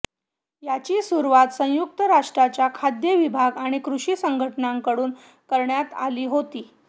याची सुरुवात संयुक्त राष्ट्राच्या खाद्य विभाग आणि कृषी संघटनानांकडून करण्यात आली होती